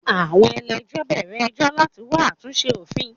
Àwọn ẹlẹ́jọ́ bẹ̀rẹ̀ ẹjọ́ láti wá àtúnṣe òfin.